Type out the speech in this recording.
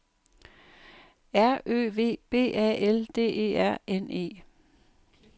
R Ø V B A L D E R N E